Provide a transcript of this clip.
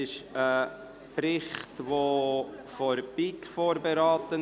Dieser Bericht wurde von der BiK vorberaten.